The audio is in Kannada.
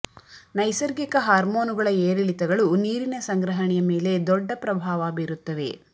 ನೈಸರ್ಗಿಕ ಹಾರ್ಮೋನುಗಳ ಏರಿಳಿತಗಳು ನೀರಿನ ಸಂಗ್ರಹಣೆಯ ಮೇಲೆ ದೊಡ್ಡ ಪ್ರಭಾವ ಬೀರುತ್ತವೆ